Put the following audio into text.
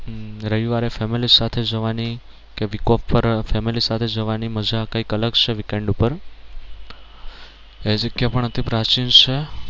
રવિવારે family સાથે જવાની કે week off પર family સાથે જવાની મજા કઈક અલગ છે weekend ઉપર એ જગ્યા પણ અતિ પ્રાચીન છે.